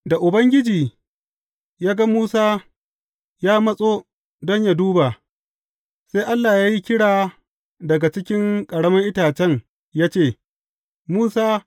Da Ubangiji ya ga Musa ya matso don yă duba, sai Allah ya yi kira daga cikin ƙaramin itacen ya ce, Musa!